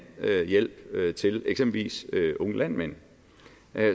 hjælp til eksempelvis unge landmænd